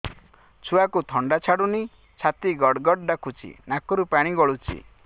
ଛୁଆକୁ ଥଣ୍ଡା ଛାଡୁନି ଛାତି ଗଡ୍ ଗଡ୍ ଡାକୁଚି ନାକରୁ ପାଣି ଗଳୁଚି